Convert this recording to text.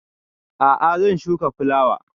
A'a zan shuka fulawa